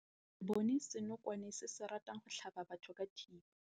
Re bone senokwane se se ratang go tlhaba batho ka thipa.